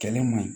Kɛlen man ɲi